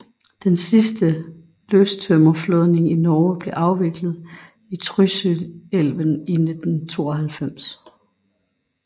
Den sidste løstømmerflådning i Norge blev afviklet i Trysilelven i 1992